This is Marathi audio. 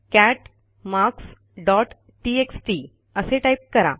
कॅट मार्क्स डॉट टेक्स्ट असे टाईप करा